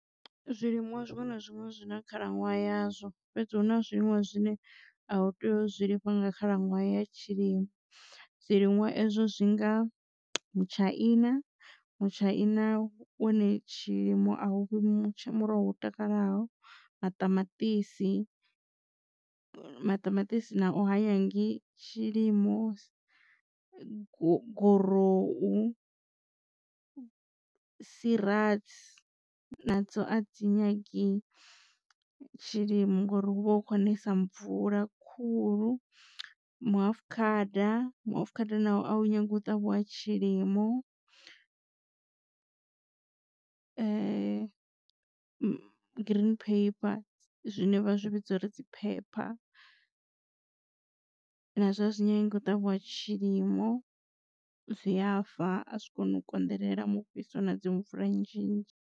Zwiliṅwa zwiṅwe na zwiṅwe zwi na khalaṅwaha ya zwo fhedzi hu na zwiliṅwa zwine a u tei u zwilima nga khalaṅwaha ya tshilimo zwiliṅwa ezwo zwi nga mutshaina. Mutshaina une tshilimo a huvhi muroho wo takalaho maṱamaṱisi maṱamaṱisi nao ha nyagi tshilimo gorohu sirasi na dzo a dzi nyagi tshilimo ngori hu vha hu khou nesa mvula khulu mihafukhada mihafukhada nawo ahu nyagi u ṱavhiwa tshilimo green pepper zwine vha zwi vhidza uri dzi pepper na zwo a zwi nyangi u ṱavhiwa tshilimo zwiyafa a zwi koni u konḓelela mufhiso na dzi mvula nnzhi nnzhi.